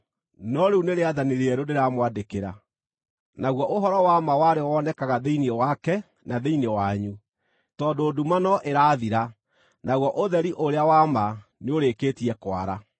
No rĩu nĩ rĩathani rĩerũ ndĩramwandĩkĩra; naguo ũhoro wa ma warĩo wonekaga thĩinĩ wake na thĩinĩ wanyu, tondũ nduma no ĩrathira, naguo ũtheri ũrĩa wa ma nĩũrĩkĩtie kwara.